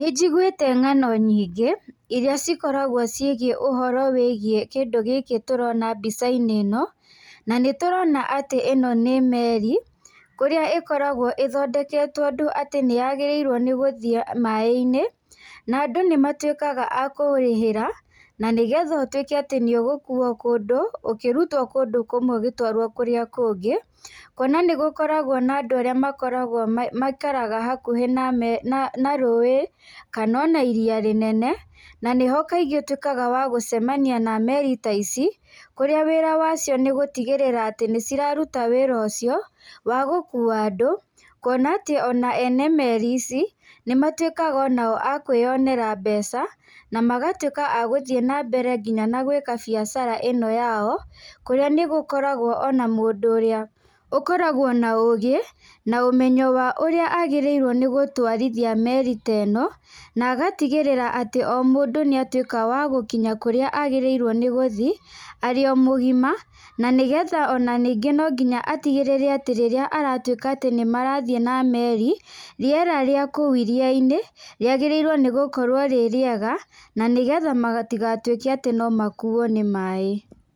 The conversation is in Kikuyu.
Nĩ njiguĩte ng'ano nyingĩ, irĩa cikoragwo ciĩgiĩ ũhoro wĩgiĩ kĩndũ gĩkĩ tũrona mbica-inĩ ĩno, na nĩ tũrona atĩ ĩno nĩ meri, kũrĩa ĩkoragwo ĩthondeketwo ũndũ atĩ nĩ yagĩrĩirwo nĩ gũthiĩ maaĩ-inĩ. Na andũ nĩ matuĩkaga a kũrĩhĩra, na nĩgetha ũtuĩke atĩ nĩ ũgũkuuo kũndũ, ũkĩrutwo kũndũ kũmwe ũgĩtwarwo kũrĩa kũngĩ. Kuona nĩ gũkoragwo na andũ arĩa makoragwo maikaraga hakuhĩ na meri, na, na rũũĩ, kana ona iria rĩnene. Na nĩho kaingĩ ũtuĩkaga wa gũcemania na meeri ta ici, kũrĩa wira wa cio nĩ gũtigĩrĩra atĩ nĩ ciraruta wĩra ũcio, wa gũkuua andũ. Kuona atĩ ona ene meri ici, nĩ matuĩkaga onao a kwĩyonera mbeca, na magatuĩka a gũthiĩ na mbere nginya na gwĩka biacara ĩno yao, kũrĩa nĩ gũkoragwo ona mũndũ ũrĩa ũkoragwo na ũũgĩ, na ũmenyo wa ũrĩa agĩrĩirwo nĩ gũtwarithia meri ta ĩno, na agatigĩrĩra atĩ o mũndũ nĩ atuĩka wa gũkinya kũrĩa agĩrĩirwo nĩ gũthi, arĩ o mũgima. Na nĩgetha ona ningĩ no nginya atigĩrĩre atĩ rĩrĩa aratuĩka atĩ nĩ marathiĩ na meri, rĩera rĩa kũu iria-inĩ, rĩagĩrĩirwo nĩ gũkorwo rĩ rĩega, na nĩgetha matigatuĩke atĩ no makuuo nĩ maaĩ.